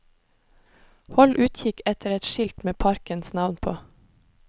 Hold utkikk etter et skilt med parkens navn på.